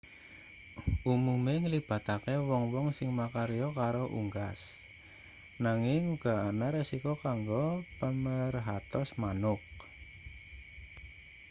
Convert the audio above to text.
umume nglibatake wong-wong sing makarya karo unggas nanging uga ana risiko kanggo pamerhatos manuk